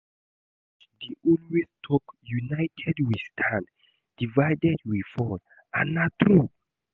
Our coach dey always talk united we stand, divided we fall and na true.